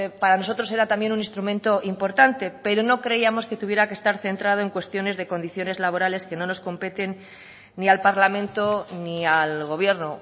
para nosotros era también un instrumento importante pero no creíamos que tuviera que estar centrado en cuestiones de condiciones laborales que no nos competen ni al parlamento ni al gobierno